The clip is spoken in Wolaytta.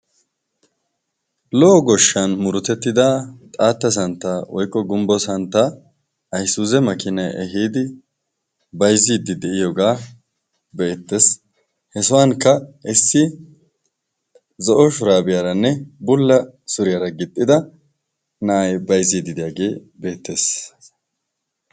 Lo'o goshshan murotettida xaatta santta woikko gumbbo santta aisuuze makinai ehiidi baizziiddi de'iyoogaa beettees he sohwankka issi zo'o shuraabiyaaranne bulla suriyaara gixxida na'ay bayzziiddi de'iyaagee beettees.